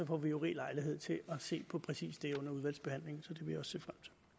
får vi jo rig lejlighed til at se på præcis det under udvalgsbehandlingen så det